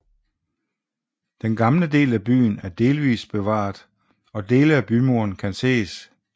Den gamle del af byen er delvist bevaret og dele af bymuren kan ses